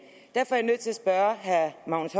derfor er jeg nødt til at spørge herre magnus